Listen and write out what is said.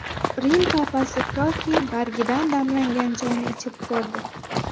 Rim Papasi koki bargidan damlangan choyni ichib ko‘rdi.